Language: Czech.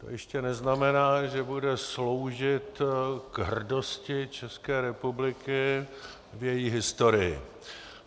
To ještě neznamená, že bude sloužit k hrdosti České republiky v její historii.